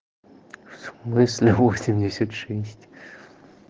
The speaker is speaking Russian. в смысле восемьдесят шесть